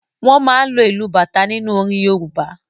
Wọ́n máa ń lo ìlù bata nínú orin Yorùbá.